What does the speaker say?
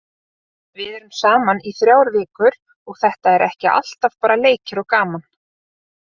Við erum saman í þrjár vikur og þetta er ekki alltaf bara leikir og gaman.